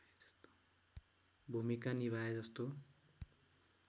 भूमिका निभाए जस्तो